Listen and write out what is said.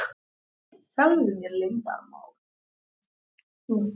Þrátt fyrir ákveðna galla er þetta því aðferðin sem menn hafa helst notast við.